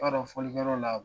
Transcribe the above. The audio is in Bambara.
B'a dɔn fɔlikɛyɔrɔ la